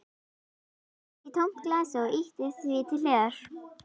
Seildist í tómt glasið og ýtti því til hliðar.